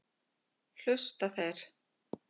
Hlusta þeir?